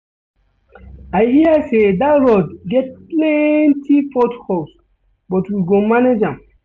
I hear sey dat road get plenty port holes but we go manage am.